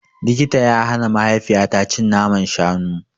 Likita ya hana mahaifiyata cin naman shanu.